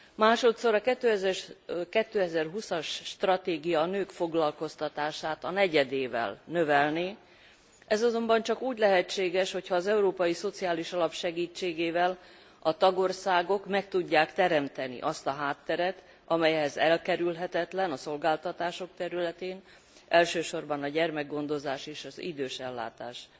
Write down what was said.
Másodszor a 2020 as stratégia a nők foglalkoztatását a negyedével növelné, ez azonban csak úgy lehetséges, hogyha az Európai Szociális Alap segítségével a tagországok meg tudják teremteni azt a hátteret, amely ehhez elkerülhetetlen a szolgáltatások területén, elsősorban a gyermekgondozás és az idősellátás